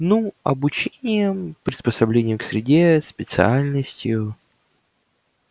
ну обучением приспособлением к среде специальностью